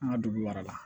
An ka dugu mara la